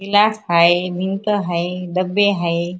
Glass हाय भिंत हाय डब्बे हाय.